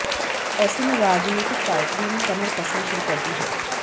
ऐसे में राजनीतिक पार्टियों ने कमर कसनी शुरु कर दी है